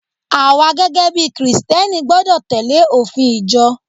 awa gẹgẹ bí Kristẹni gbọdọ tẹle ofin ìjọ